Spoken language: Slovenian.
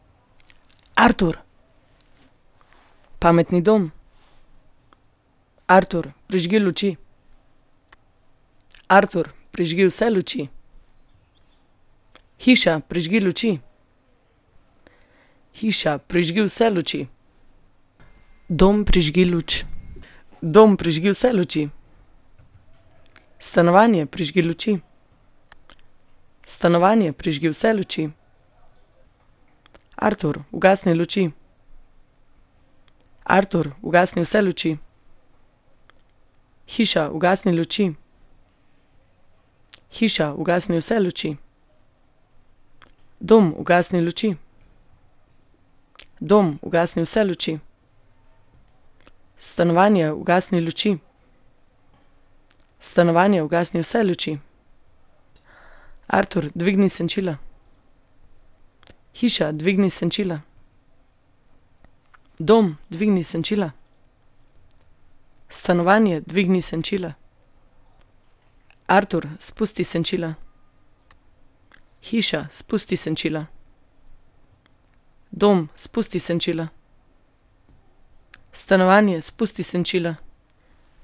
Artur. Pametni dom. Artur, prižgi luči. Artur, prižgi vse luči. Hiša, prižgi luči. Hiša, prižgi vse luči. Dom, prižgi luč. Dom, prižgi vse luči. Stanovanje, prižgi luči. Stanovanje, prižgi vse luči. Artur, ugasni luči. Artur, ugasni vse luči. Hiša, ugasni luči. Hiša, ugasni vse luči. Dom, ugasni luči. Dom, ugasni vse luči. Stanovanje, ugasni luči. Stanovanje, ugasni vse luči. Artur, dvigni senčila. Hiša, dvigni senčila. Dom, dvigni senčila. Stanovanje, dvigni senčila. Artur, spusti senčila. Hiša, spusti senčila. Dom, spusti senčila. Stanovanje, spusti senčila.